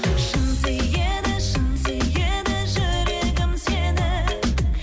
шын сүйеді шын сүйеді жүрегім сені